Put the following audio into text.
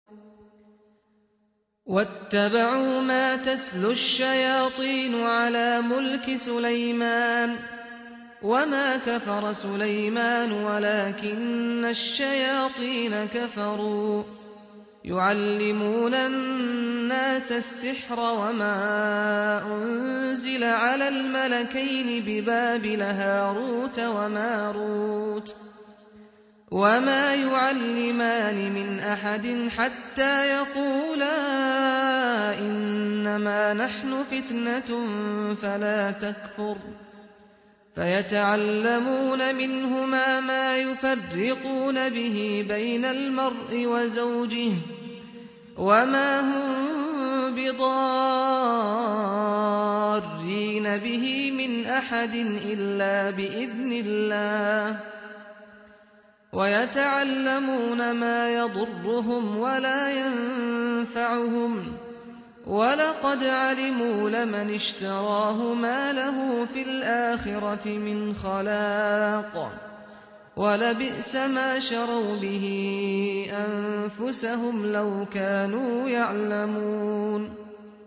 وَاتَّبَعُوا مَا تَتْلُو الشَّيَاطِينُ عَلَىٰ مُلْكِ سُلَيْمَانَ ۖ وَمَا كَفَرَ سُلَيْمَانُ وَلَٰكِنَّ الشَّيَاطِينَ كَفَرُوا يُعَلِّمُونَ النَّاسَ السِّحْرَ وَمَا أُنزِلَ عَلَى الْمَلَكَيْنِ بِبَابِلَ هَارُوتَ وَمَارُوتَ ۚ وَمَا يُعَلِّمَانِ مِنْ أَحَدٍ حَتَّىٰ يَقُولَا إِنَّمَا نَحْنُ فِتْنَةٌ فَلَا تَكْفُرْ ۖ فَيَتَعَلَّمُونَ مِنْهُمَا مَا يُفَرِّقُونَ بِهِ بَيْنَ الْمَرْءِ وَزَوْجِهِ ۚ وَمَا هُم بِضَارِّينَ بِهِ مِنْ أَحَدٍ إِلَّا بِإِذْنِ اللَّهِ ۚ وَيَتَعَلَّمُونَ مَا يَضُرُّهُمْ وَلَا يَنفَعُهُمْ ۚ وَلَقَدْ عَلِمُوا لَمَنِ اشْتَرَاهُ مَا لَهُ فِي الْآخِرَةِ مِنْ خَلَاقٍ ۚ وَلَبِئْسَ مَا شَرَوْا بِهِ أَنفُسَهُمْ ۚ لَوْ كَانُوا يَعْلَمُونَ